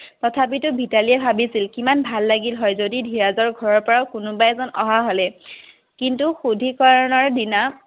তথাপিতো মিতালীও ভাবিছিল কিমান ভাল লাগিল হয় যদি ধীৰজৰ ঘৰৰ পৰাও কোনোবা এজন অহা হ'লে কিন্তু সুদ্ধিকৰনৰ দিনা